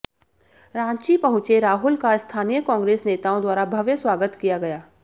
रांची पहुंचे राहुल का स्थानीय कांग्रेस नेताओं द्वारा भव्य स्वागत किया गया